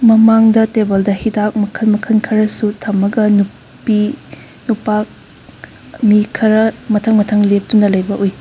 ꯃꯃꯥꯡꯗ ꯇꯦꯕꯜꯗ ꯍꯤꯗꯥꯛ ꯃꯈꯟ ꯃꯈꯟ ꯈꯔꯁꯨ ꯊꯝꯃꯒ ꯅꯨꯄꯤ ꯅꯨꯄꯥ ꯃꯤ ꯈꯔ ꯃꯊꯡ ꯃꯊꯡ ꯂꯦꯞꯇꯨꯅ ꯂꯩꯕ ꯎꯏ꯫